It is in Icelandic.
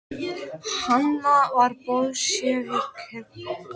Hann var bolséviki á þessum árum og mikill vinur Ólafs